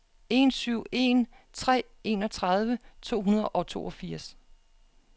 en syv en tre enogtredive to hundrede og toogfirs